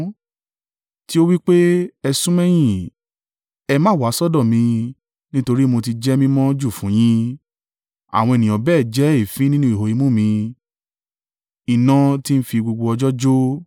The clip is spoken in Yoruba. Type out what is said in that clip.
tí ó wí pé, ‘Ẹ sún mẹ́yìn; ẹ má wá sọ́dọ̀ mi, nítorí mo ti jẹ́ mímọ́ jù fún un yín!’ Àwọn ènìyàn bẹ́ẹ̀ jẹ́ èéfín nínú ihò imú mi iná tí ń fi gbogbo ọjọ́ jó.